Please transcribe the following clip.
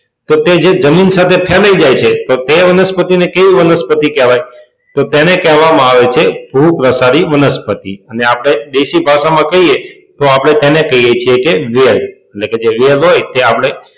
તો તે જે જમીન સાથે ફેલાઈ જાય છે તો તે વનસ્પતિને કેવી વનસ્પતિ કહેવાય તો તેને કહેવામાં આવે છે ભૂપ્રસારી વનસ્પતિ અને આપણે દેશી ભાષામાં કહીએ તો આપણે તેને કહીએ છીએ કે વેલ. કે જે વેલ હોય તે આપણે,